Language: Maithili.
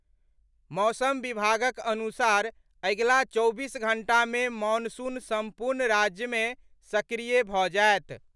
मौसम विभागक अनुसार अगिला चौबीस घंटा मे मॉनसून सम्पूर्ण राज्य मे सक्रिय भऽ जायत।